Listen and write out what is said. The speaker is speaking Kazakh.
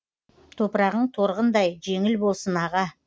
топырағың торғындай жеңіл болсын аға